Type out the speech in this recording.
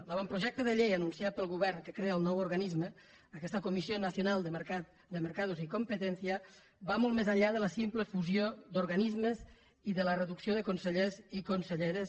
l’avantprojecte de llei anunciat pel govern que crea el nou organisme aquesta comisión nacional de mercados y competencia va molt més enllà de la simple fusió d’organismes i de la reducció de consellers i conselleres